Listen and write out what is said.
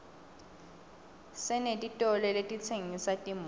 senetitolo letitsengisa timoto